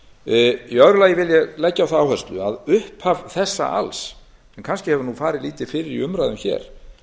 í öðru lagi vil ég leggja á það áherslu að upphaf þessa alls sem kannski hefur farið lítið fyrir í umræðum hér